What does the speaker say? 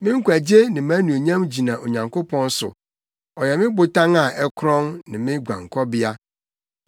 Me nkwagye ne mʼanuonyam gyina Onyankopɔn so; ɔyɛ me botan a ɛkorɔn, ne me guankɔbea.